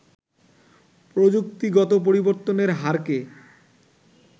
প্রযুক্তিগত পরিবর্তনের হারকে